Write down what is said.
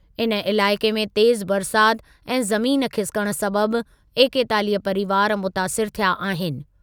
इन इलाइक़े में तेज़ु बरसातु ऐं ज़मीन खिसिकणु सबबि एकेतालीह परीवार मुतासिरु थिया आहिनि।